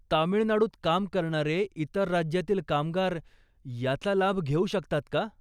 तामिळनाडूत काम करणारे इतर राज्यातील कामगार याचा लाभ घेऊ शकतात का?